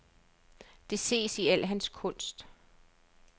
Det ses i al hans kunst.